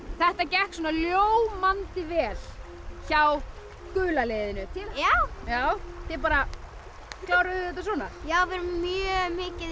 þetta gekk svona ljómandi vel hjá gula liðinu já já þið bara kláruðuð þetta svona við erum mjög mikið í